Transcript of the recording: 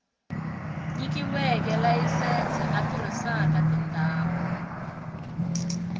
nyikiweke layisense a tirhisaka tindhawu